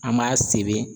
An m'a sebe